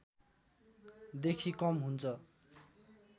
देखि कम हुन्छ